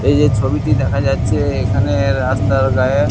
এই যে ছবিটি দেখা যাচ্ছে এখানে রাস্তার গায়ে।